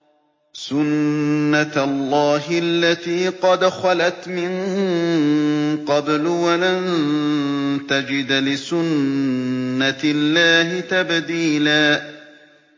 سُنَّةَ اللَّهِ الَّتِي قَدْ خَلَتْ مِن قَبْلُ ۖ وَلَن تَجِدَ لِسُنَّةِ اللَّهِ تَبْدِيلًا